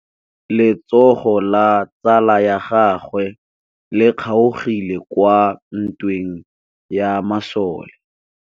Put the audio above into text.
Letsôgô la tsala ya gagwe le kgaogile kwa ntweng ya masole.